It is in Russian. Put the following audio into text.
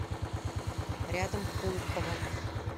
рядом пулково